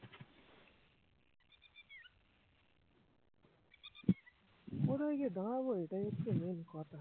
কোথায় গিয়ে দাঁড়াবো এটাই হচ্ছে main কথা